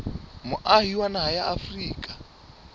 moahi wa naha ya afrika